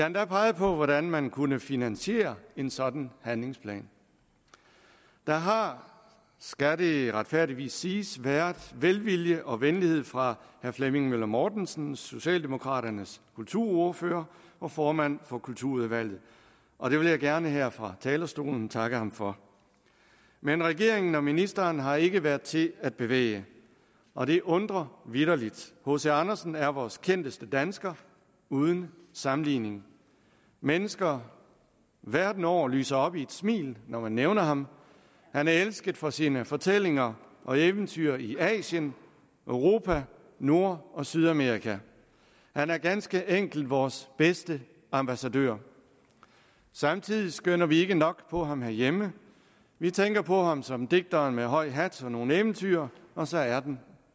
endda peget på hvordan man kunne finansiere en sådan handlingsplan der har skal det retfærdigvis siges været velvilje og venlighed fra herre flemming møller mortensen socialdemokraternes kulturordfører og formand for kulturudvalget og det vil jeg gerne her fra talerstolen takke ham for men regeringen og ministeren har ikke været til at bevæge og det undrer vitterligt hc andersen er vores kendteste dansker uden sammenligning mennesker verden over lyser op i et smil når man nævner ham han er elsket for sine fortællinger og eventyr i asien europa nord og sydamerika han er ganske enkelt vores bedste ambassadør samtidig skønner vi ikke nok på ham herhjemme vi tænker på ham som digteren med høj hat og nogle eventyr og så er den